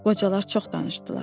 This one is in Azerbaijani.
Qocalar çox danışdılar.